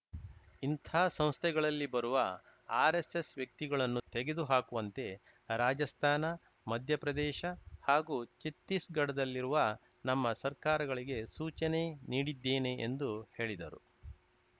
ಇಂತಹ ಸಂಸ್ಥೆಗಳಲ್ಲಿ ಬರುವ ಆರ್‌ಎಸ್‌ಎಸ್‌ ವ್ಯಕ್ತಿಗಳನ್ನು ತೆಗೆದು ಹಾಕುವಂತೆ ರಾಜಸ್ಥಾನ ಮಧ್ಯಪ್ರದೇಶ ಹಾಗೂ ಛತ್ತೀಸ್‌ಗಢದಲ್ಲಿರುವ ನಮ್ಮ ಸರ್ಕಾರಗಳಿಗೆ ಸೂಚನೆ ನೀಡಿದ್ದೇನೆ ಎಂದು ಹೇಳಿದರು